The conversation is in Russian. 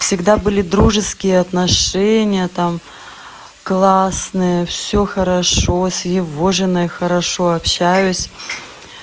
всегда были дружеские отношения там классные все хорошо с его женой хорошо общаюсь